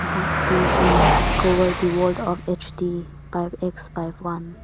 Dish TV discover the world of HD five X five one.